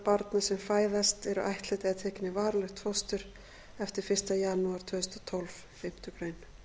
barna sem fæðast eru ættleidd eða tekin í varanlegt fóstur eftir fyrsta janúar tvö þúsund og tólf